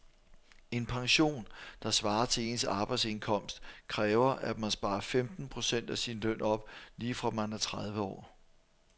En pension, der svarer til ens arbejdsindkomst, kræver at man sparer femten procent af sin løn op lige fra man er tredive år.